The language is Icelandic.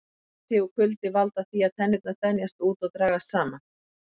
Hiti og kuldi valda því að tennurnar þenjast út og dragast saman.